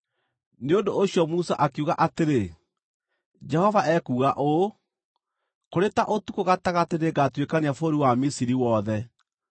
Nĩ ũndũ ũcio Musa akiuga atĩrĩ, “Jehova ekuuga ũũ: ‘Kũrĩ ta ũtukũ gatagatĩ nĩngatuĩkania bũrũri wa Misiri wothe.